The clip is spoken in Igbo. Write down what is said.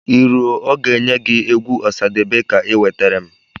I rue ọ ga-enye gị egwu Ọsadebe ka i nwetere m